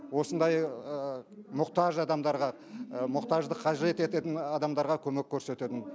осындай мұқтаж адамдарға мұқтаждық қажет ететін адамдарға көмек көрсетемін